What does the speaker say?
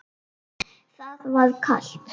Það var kalt.